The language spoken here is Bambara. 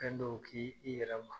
Fɛn dɔw k'i yɛrɛ ma.